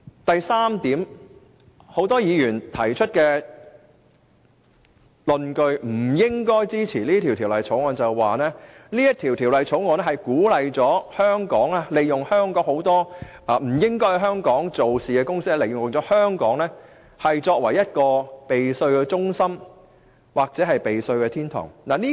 第三點，多位議員提出不應支持《條例草案》的論據，是有關政政會鼓勵很多不應在香港經營的公司，利用香港避稅或逃稅。